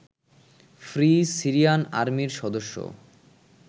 free Syrian আর্মির সদস্যও